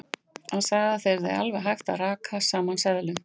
Hann sagði að það yrði alveg hægt að raka saman seðlum.